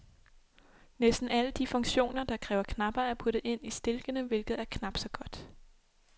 Næsten alle de funktioner, der kræver knapper, er puttet ind i stilkene, hvilket er knapt så godt.